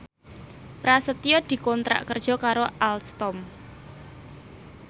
Prasetyo dikontrak kerja karo Alstom